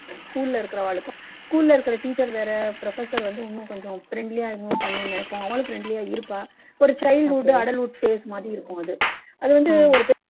school ல இருக்கவாளுக்கும் school ல இருக்குற வேற professor இன்னும் கொஞ்சம் friendly ஆ பண்ணணும்னு நினைப்போம் அவாளும் friendly ஆ இருப்பா ஒரு childhood adulthood phase மாதிரி இருக்கும் அது அது வந்து ஒரு